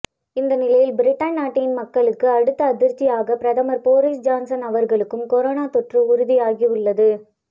இந்த நிலையில் பிரிட்டன் நாட்டின் மக்களுக்கு அடுத்த அதிர்ச்சியாக பிரதமர் போரீஸ் ஜான்சன் அவர்களுக்கும் கொரோனா தொற்று உறுதியாகியுள்ளது